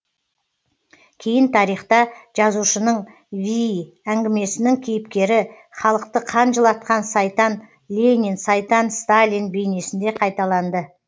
кейін тарихта жазушының вий әңгімесінің кейіпкері халықты қан жылатқан сайтан ленин сайтан сталин бейнесінде қайталанды